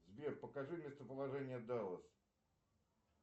сбер покажи местоположение даллас